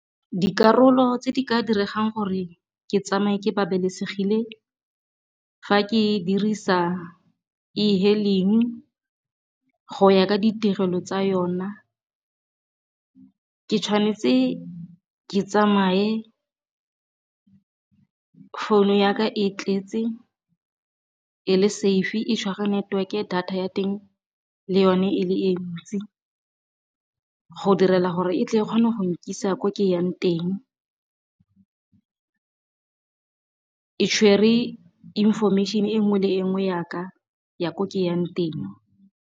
Dikarolo tse di ka diregang gore ke tsamaye ke babalesegile fa ke dirisa ehailing go ya ka ditirelo tsa yona, ke tshwanetse ke tsamaye founu ya ka e tletse e le safe e tshwara network-e, data ya teng le yone e le e ntsi go direla gore e tle e kgone go nkisa ko ke yang teng e tshwere information e nngwe le e nngwe ya ka ya ko ke yang teng.